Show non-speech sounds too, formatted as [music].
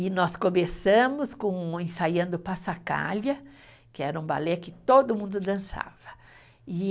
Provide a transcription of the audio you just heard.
E nós começamos com, ensaiando, [unintelligible] que era um balé que todo mundo dançava, e